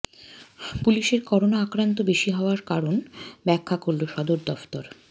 পুলিশের করোনা আক্রান্ত বেশি হওয়ার কারণ ব্যাখ্যা করলো সদর দফতর